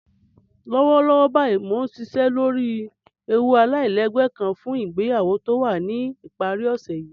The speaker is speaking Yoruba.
Lọ́wọ́lọ́wọ́ báyìí mó nsìṣẹ́ lọ́rí èwú aláìlẹ́gbẹ̀ kán fún ìgbèyàwó tó wà ní ipàrí òṣè yìí